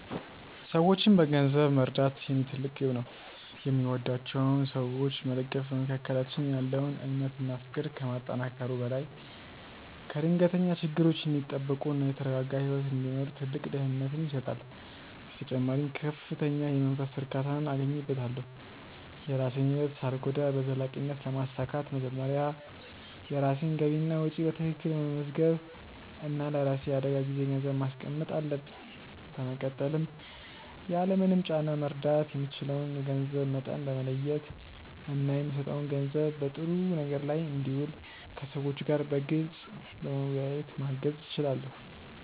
ሰዎችን በገንዘብ መርዳት የኔ ትልቅ ግብ ነው። የሚወዷቸውን ሰዎች መደገፍ በመካከላችን ያለውን እምነት እና ፍቅር ከማጠናከሩ በላይ ከድንገተኛ ችግሮች እንዲጠበቁ እና የተረጋጋ ህይወት እንዲመሩ ትልቅ ደህንነትን ይሰጣል። በተጨማሪም ከፍተኛ የመንፈስ እርካታን አገኝበታለሁ። የራሴን ህይወት ሳልጎዳ በዘላቂነት ለማሳካት መጀመሪያ የራሴን ገቢና ወጪ በትክክል መመዝገብ እና ለራሴ የአደጋ ጊዜ ገንዘብ ማስቀመጥ አለብኝ። በመቀጠልም ያለምንም ጫና መርዳት የምችለውን የገንዘብ መጠን በመለየት እና የምሰጠው ገንዘብ በጥሩ ነገር ላይ እንዲውል ከሰዎቹ ጋር በግልፅ በመወያየት ማገዝ እችላለሁ።